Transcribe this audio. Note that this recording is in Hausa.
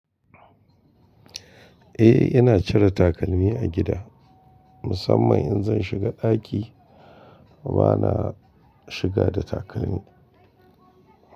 Eh ina cire takalmi a gida, musamman in zan shiga ɗaki bana shiga da takalmi.